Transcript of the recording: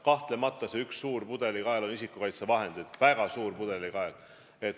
Kahtlemata üks suur pudelikael on isikukaitsevahendid – see on väga suur pudelikael.